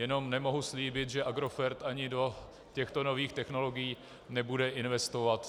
Jen nemohu slíbit, že Agrofert ani do těchto nových technologií nebude investovat.